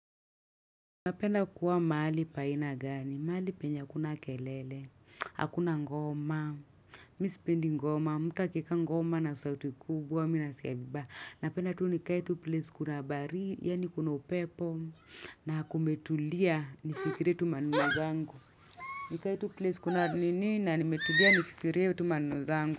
Napenda kuwa mahali pa aina gani, mahali penya hakuna kelele, hakuna ngoma, mimi sipendi ngoma, mtu akiweka ngoma na sauti kubwa, mimi nasikia vibaya Napenda tu nikae place kuna baridi yani kuna upepo, na kumetulia, nifikire tu maneno zangu. Nikae tu place kuna nini, na nimetulia nifikire tu maneno zangu.